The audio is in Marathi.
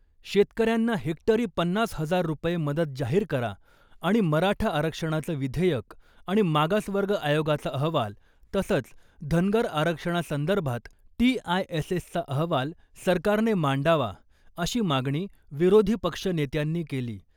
शेतकऱ्यांना हेक्टरी पन्नास हजार रुपये मदत जाहीर करा आणि मराठा आरक्षणाचं विधेयक आणि मागासवर्ग आयोगाचा अहवाल तसंच धनगर आरक्षणासंदर्भात टीआयएसएसचा अहवाल सरकारने मांडावा अशी मागणी विरोधी पक्षनेत्यांनी केली .